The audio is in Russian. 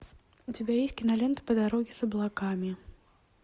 у тебя есть кинолента по дороге с облаками